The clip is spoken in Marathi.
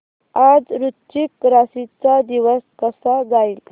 आज वृश्चिक राशी चा दिवस कसा जाईल